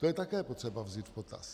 To je také potřeba vzít v potaz.